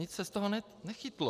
Nic se z toho nechytlo.